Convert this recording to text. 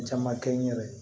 Caman kɛ n yɛrɛ ye